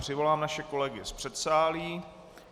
Přivolám naše kolegy z předsálí.